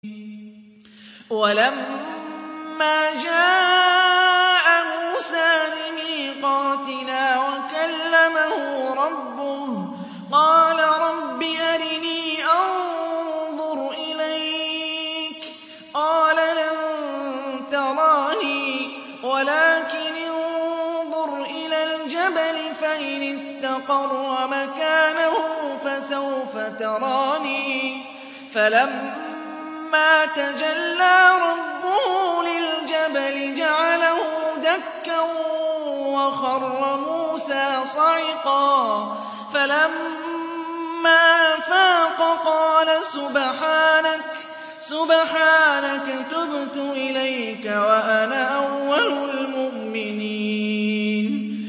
وَلَمَّا جَاءَ مُوسَىٰ لِمِيقَاتِنَا وَكَلَّمَهُ رَبُّهُ قَالَ رَبِّ أَرِنِي أَنظُرْ إِلَيْكَ ۚ قَالَ لَن تَرَانِي وَلَٰكِنِ انظُرْ إِلَى الْجَبَلِ فَإِنِ اسْتَقَرَّ مَكَانَهُ فَسَوْفَ تَرَانِي ۚ فَلَمَّا تَجَلَّىٰ رَبُّهُ لِلْجَبَلِ جَعَلَهُ دَكًّا وَخَرَّ مُوسَىٰ صَعِقًا ۚ فَلَمَّا أَفَاقَ قَالَ سُبْحَانَكَ تُبْتُ إِلَيْكَ وَأَنَا أَوَّلُ الْمُؤْمِنِينَ